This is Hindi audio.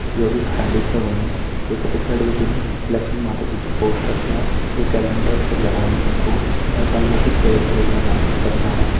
यो भी खाली छ ह्वोई येका पिछाड़ी बटिन लक्ष्मी माता जी की पोस्टर छा य केलेंडर छा लगायूँ यूको अर बल्लभ भी छे ये पर एक लगायुं चमणौना थे।